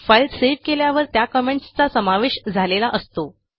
file save केल्यावर त्या comments चा समावेश झालेला असतो